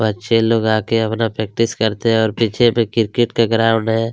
बच्चे लोग आके अपना प्रैक्टिस करते है और पीछे क्रिकेट का ग्राउंड हैं।